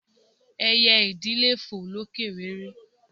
Ẹyẹ idì le fò lókè réré.